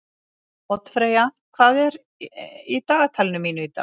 Oddfreyja, hvað er í dagatalinu mínu í dag?